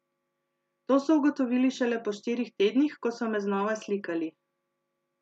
To so ugotovili šele po štirih tednih, ko so me znova slikali.